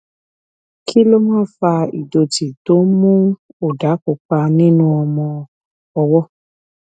kí ló máa ń fa ìdòtí tó ń mú òdà pupa nínú ọmọ ọwó